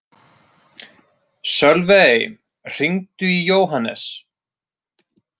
Sölvey, hringdu í Jóhannes.